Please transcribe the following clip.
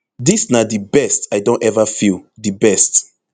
dis na di best i don eva feel di best